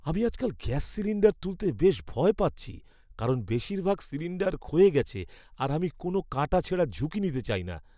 আমি আজকাল gas cylinder তুলতে বেশ ভয় পাচ্ছি কারণ বেশিরভাগ সিলিণ্ডার ক্ষয়ে গেছে আর আমি কোনো কাটাছেঁড়ার ঝুঁকি নিতে চাই না।